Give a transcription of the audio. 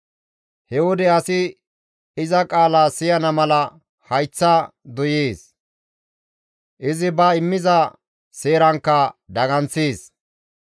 He wode asi iza qaala siyana mala hayththa doyees; izi ba immiza seerankka daganththees.